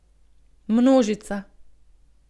Množica.